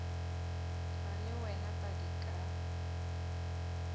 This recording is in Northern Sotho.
ra le wena padi ka